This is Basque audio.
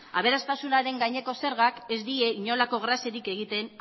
aberastasunaren gaineko zergak ez die inolako graziarik egiten